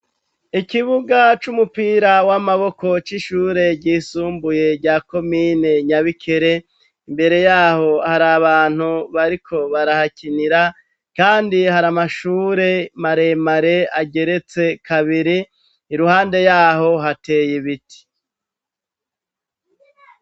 Ikibuga c'umupira w'amaboko c'ishure ryisumbuye rya komine nyabikere imbere yaho hari abantu bariko barahakinira, kandi hari amashure maremare ageretse kabiri iruhande yaho hateye ibiti.